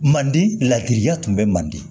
Mandi ladiriya tun bɛ manden